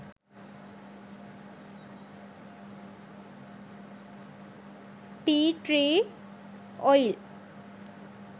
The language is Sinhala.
tea tree oil